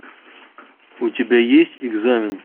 у тебя есть экзамен